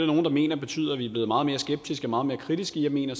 nogle der mener betyder at vi er blevet meget mere skeptiske og meget mere kritiske jeg mener